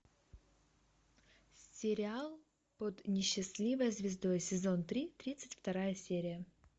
сериал под несчастливой звездой сезон три тридцать вторая серия